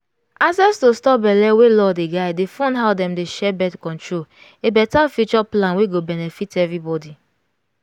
access to stop belle wey law dey guidedey fund how dem dey share birth-control a better future plan wey go benefit everybody.